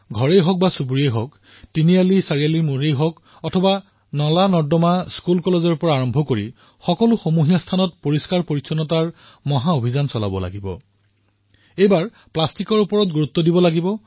ঘৰেই হওক অথবা গলি চুবুৰীয়েই হওক অথবা নলা বিদ্যালয় মহাবিদ্যালয়ৰ পৰা সকলো সাৰ্বজনিক স্থানৰ পৰা স্বচ্ছতাৰ মহা অভিযান আৰম্ভ কৰিম এইবাৰ প্লাষ্টিকৰ ওপৰত বিশেষ গুৰুত্ব প্ৰদান কৰিব লাগিব